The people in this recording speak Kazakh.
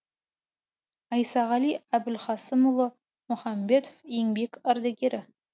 айсағали әбілхасымұлы мұхамбетов еңбек ардагері